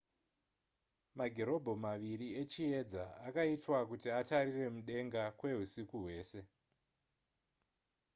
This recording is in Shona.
magirobho maviri echiyedza akaitwa kuti atarire mudenga kwehusiku hwese